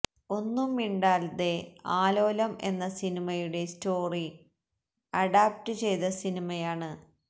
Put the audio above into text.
ഒന്നും മിണ്ടാതെ ആലോലം എന്ന സിനിമയുടെ സ്റ്റോറ്റി അഡാപ്റ്റ് ചെയ്ത സിനിമയാണ്